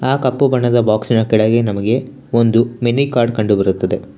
ಆ ಕಪ್ಪು ಬಣ್ಣದ ಬಾಕ್ಸಿನ ಕೆಳಗೆ ನಮಗೆ ಒಂದು ಮಿನಿ ಕಾರ್ಡ್ ಕಂಡು ಬರುತ್ತದೆ.